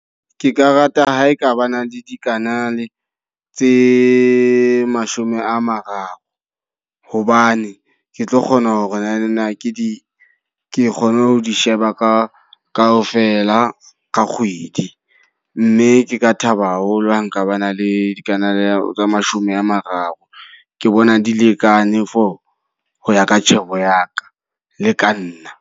Ke ka rata ha ekabana le dikanale tse mashome a mararo. Hobane ke tlo kgona hore na na ke di ke kgone ho di sheba ka ka ho fela ka kgwedi. Mme ke ka thaba haholo ha nka ba na le dikanale tsa mashome a mararo. Ke bona di lekane for hoya ka tjhebo ya ka, le ka nna.